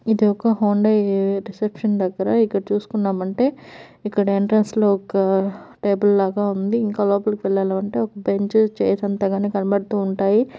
ఇది ఒక Hyundai reception దగ్గర ఇక్కడ చూసుకున్నామంటే ఇక్కడ ఎంట్రెన్స్ లో ఒక టేబుల్ లాగా ఉంది ఇంకా లోపలికి ఎల్లాలంటే ఒక బెంచ్ చైర్ అంత కానీ కనబడుతూ ఉంటాయి.